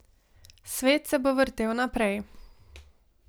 Svet se bo vrtel naprej.